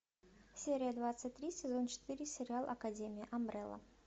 серия двадцать три сезон четыре сериал академия амбрелла